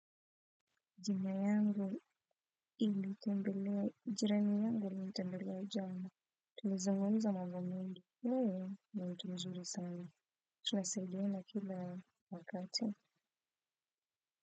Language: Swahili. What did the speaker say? Jina yangu, ili kundi, jirani yangu alinitembelea jana. Tulizungumza mambo mengi. Ni mtu mzuri sana. Tunasaidiana kila wakati.